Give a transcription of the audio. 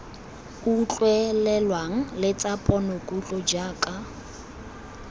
utlwelelwang le tsa ponokutlo jaaka